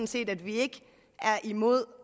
set at vi ikke er imod